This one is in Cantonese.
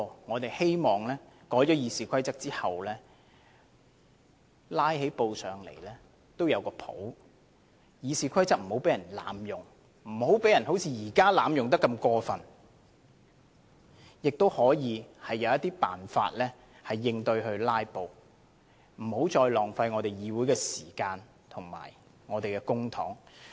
我們只是希望經修改後，即使"拉布"也不至於太離譜，而《議事規則》亦不會像現時般被過分濫用，可以有應對"拉布"的辦法，避免再浪費議會的時間及公帑。